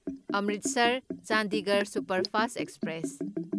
Amritsar Chandigarh superfast express